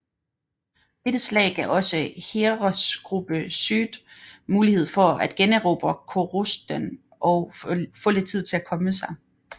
Dette slag gav også Heeresgruppe Süd mulighed for at generobre Korosten og få lidt tid til at komme sig